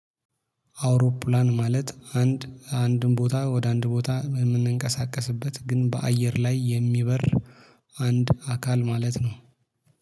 አውሮፕላን ማለት አንድ አንድን ቦታ ወደ አንድ ቦታ የምንቀሳቀስበት ግን በአየር ላይ የሚበር። አንድ አካል ማለት ነው